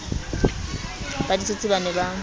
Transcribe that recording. ba ditsotsi ba ne ba